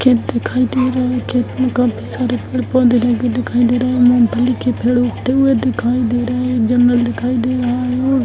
camp दिखाई दे रहे हैं | कैंप में काफी सारे सारे पेड़ पौधे लगे दिखाई दे रहे हैं | मूंगफली के पेड़ उगते हुए दिखाई दे रहे हैं | एक जंगल दिखाई दे रहा है | और --